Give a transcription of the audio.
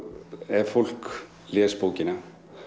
ef fólk les bókina